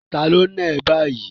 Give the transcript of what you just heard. Ta ló náà ẹ báyìí?